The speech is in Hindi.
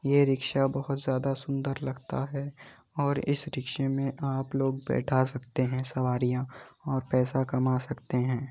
ये रिक्शा बहुत जादा सुंदर लगता है और इस रिक्शे में आप लोग बैठा सकते हैं सवारियां और पैसा कमा सकते हैं |